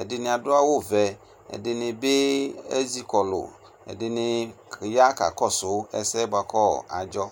ɛdini adʋ awʋvɛ ɛdunibi ezikɔlʋ ɛdini ya kakɔsʋ ɛseyɛ bʋakʋ adzɔ